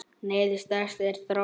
Neyðin stærsta er á þroti.